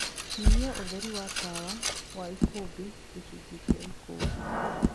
nyĩhĩa ũtherĩ wa tawa wa ikumbi gĩcũnjĩ gia ikumbi